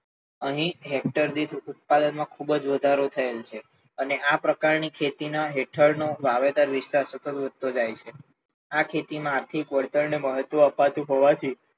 અહી હેક્ટર દીઠ ઉત્પાદન માં ખૂબ જ વધારો થયેલ છે, અને આ પ્રકાર ની ખેતી ની હેઠળ નો વાવેતર વિસ્તાર સતત વધતો જાય છે, આ ખેતી માં આર્થિક વળતર મળતું હોવાથી,